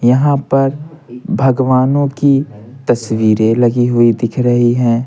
यहां पर भगवानों की तस्वीरें लगी हुई दिख रही हैं।